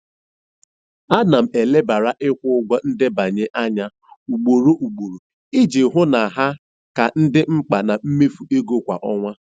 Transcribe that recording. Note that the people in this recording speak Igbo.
Ana m elebara ikwu ụgwọ ndebanye anya ugboro ugboro iji hụ na ha ka dị mkpa na mmefu ego kwa ọnwa.